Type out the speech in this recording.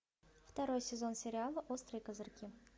второй сезон сериала острые козырьки